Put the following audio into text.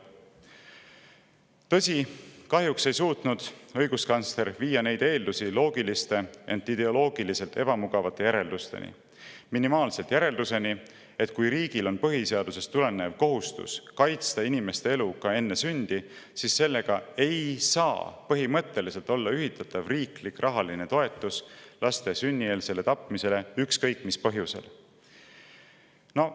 Tõsi, kahjuks ei suutnud õiguskantsler viia neid eeldusi loogiliste, ent ideoloogiliselt ebamugavate järeldusteni, minimaalsete järeldusteni, et kui riigil on põhiseadusest tulenev kohustus kaitsta inimeste elu ka enne sündi, siis sellega ei saa olla ühitatav riiklik rahaline toetus laste sünnieelseks tapmiseks, ükskõik mis põhjusel seda tehakse.